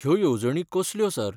ह्यो येवजणी कसल्यो, सर?